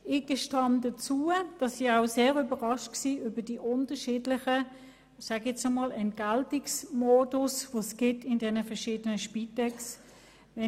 Ich gebe zu, dass mich auch die unterschiedlichen Entgeltungsmodi der verschiedenen Spitexorganisationen überrascht haben.